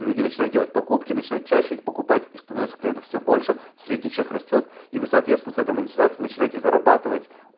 люди начинают делать покупки начинают чаще покупать и становится клиентов все больше средний чек растёт и вы соответственно с этой монетизацией начинайте зарабатывать